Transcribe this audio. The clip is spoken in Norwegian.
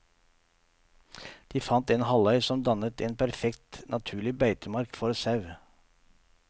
De fant en halvøy som dannet en perfekt, naturlig beitemark for sau.